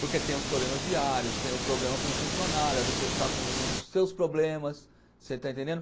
Porque tem os problemas diários, tem o problema com o funcionário, às vezes ele está com os seus problemas, você está entendendo?